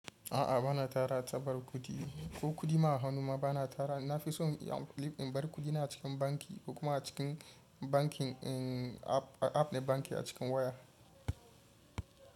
A'a bana tara tabar kuɗi ko kuɗi ma a hanuma bana tara. Na fi so in bar kuɗina a cikin banki ko kuma a cikin bankin, din app na banki a cikin waya.